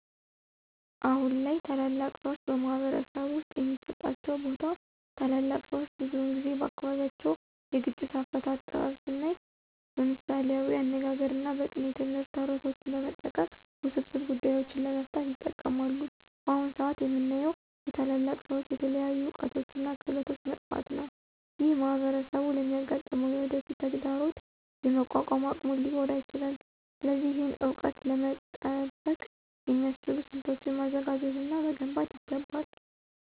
አሁን ላይ ታላላቅ ሰዎች በማኅበረሰብ ውስጥ የሚሰጣቸው ቦታ ታላላቅ ሰዎች ብዙውን ጊዜ በአካባቢያቸው የግጭት አፈታት ጥበብ ስናይ በምሳሌያዊ አነጋግሮች እና በቅኔ ትምህርት፣ ተረቶችን በመጠቀም ውስብስብ ጉዳዮችን ለመፍታት ይጠቀማሉ። በአሁን ሰአት የምናየው የታላላቅ ሰዎች የተለያዩ እውቀቶች እና ክህሎቶች መጥፋት ነው። ይህ ማኅበረሰቡ ለሚያጋጥመው የወደፊት ተግዳሮት የመቋቋም አቅሙን ሊጎዳ ይችላል። ስለዚህ ይህን እውቀት ለመጠበቅ የሚያስችሉ ስልቶችን ማዘጋጀት እና መገንባት ይገባል።